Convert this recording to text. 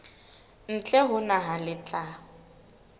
ntle ho naha le tla